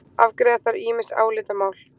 Afgreiða þarf ýmis álitamál